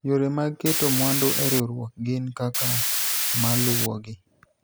yore mag keto mwandu e riwruok gin kaka maluwogi